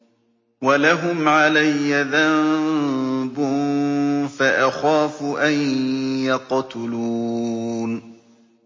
وَلَهُمْ عَلَيَّ ذَنبٌ فَأَخَافُ أَن يَقْتُلُونِ